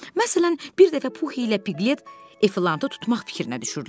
Məsələn, bir dəfə Pux ilə Piqlet Efli tutmaq fikrinə düşürdülər.